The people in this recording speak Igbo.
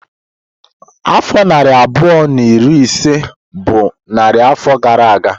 Afọ narị abụọ na iri ise bụ narị afọ gara aga.